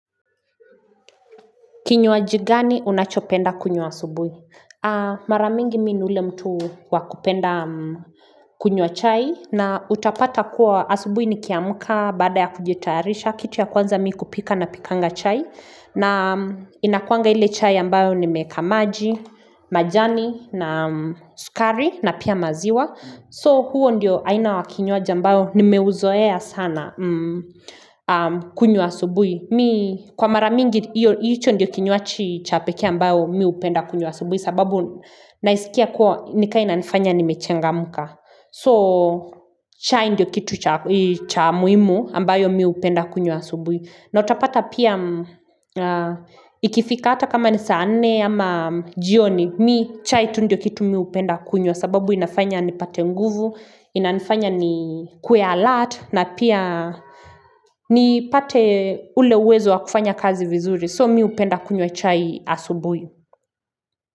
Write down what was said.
Kinywaji gani unachopenda kunywa asubuhi? Mara mingi mimi ni ule mtu wa kupenda kunywa chai na utapata kuwa asubuhi nikiamka baada ya kujitayarisha kitu ya kwanza mimi hupika napikanga chai. Na inakuanga ile chai ambayo nimeeka maji, majani na sukari na pia maziwa. So huo ndio aina wa kinywaji ambao nimeuzoea sana kunywa asubuhi. Mimi kwa mara mingi hicho ndiyo kinywaij cha pekee ambayo mimi hupenda kunywa asubuhi sababu naisikia kuwa ni kama inanifanya nimechangamka so chai ndiyo kitu cha muhimu ambayo mimi hupenda kunywa asubuhi na utapata pia ikifika hata kama ni saa nne ama jioni mmii chai tu ndiyo kitu mimi hupenda kunywa sababu inafanya nipate nguvu Inanifanya nikuwe alert na pia nipate ule uwezo wa kufanya kazi vizuri. So mimi hupenda kunywa chai asubuhi.